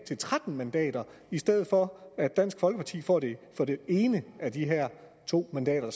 til tretten mandater i stedet for at dansk folkeparti får det ene af de her to mandater